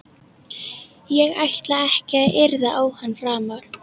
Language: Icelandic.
Ég ætla ekki að yrða á hana framar.